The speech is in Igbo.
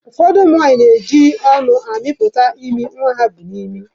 Ụfọdụ ụmụ nwanyị na-eji ọnụ ha amịpụta imi nwa ha bu n'imi.